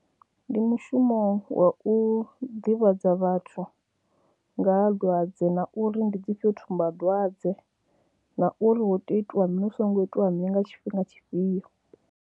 Ndi mushumo wa u ḓivhadza vhathu nga dwadze ha uri ndi dzi fhio tsumbadwadze na uri hu tea u itiwa mini, hu songo itiwa mini nga tshifhinga tshifhio.